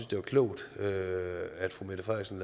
det var klogt at fru mette frederiksen